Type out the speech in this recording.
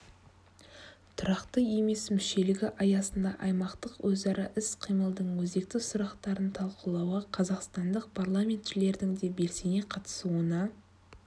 тұрақты емес мүшелігі аясында аймақтық өзара іс-қимылдың өзекті сұрақтарын талқылауға қазақстандық парламентшілердің де белсене қатысуына